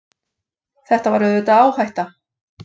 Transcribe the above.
Þetta er auðvitað áhætta.